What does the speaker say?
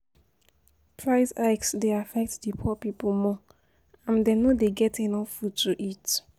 Price hikes dey affect di poor people more, and dem no dey get enough food to eat.